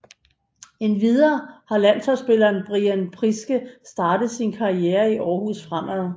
Endvidere har landsholdsspilleren Brian Priske startet sin karriere i Aarhus Fremad